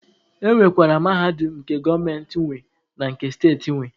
E nwekwara Mahadum nke gọọmenti nwe na nke steeti nwe.